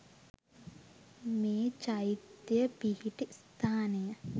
මේ චෛත්‍යය පිහිටි ස්ථානය